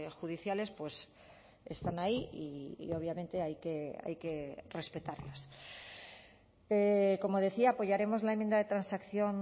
judiciales pues están ahí y obviamente hay que respetarlas como decía apoyaremos la enmienda de transacción